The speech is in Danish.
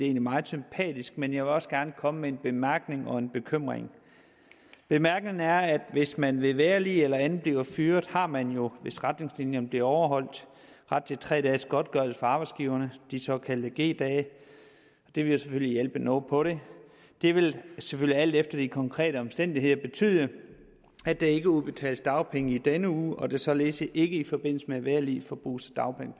er meget sympatisk men jeg vil også gerne komme med en bemærkning og en bekymring bemærkningen er at hvis man ved vejrlig eller andet bliver fyret har man jo hvis retningslinjerne bliver overholdt ret til tre dages godtgørelse fra arbejdsgiverne de såkaldte g dage det vil jo selvfølgelig hjælpe noget på det det vil selvfølgelig alt efter de konkrete omstændigheder betyde at der ikke udbetales dagpenge i den uge og at der således ikke i forbindelse med vejrlig bruges